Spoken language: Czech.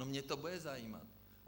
No mě to bude zajímat.